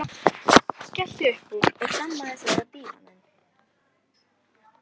Skellti upp úr og hlammaði sér á dívaninn.